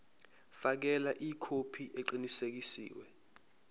fakela ikhophi eqinisekisiwe